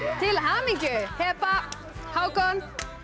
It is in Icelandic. til hamingju Heba Hákon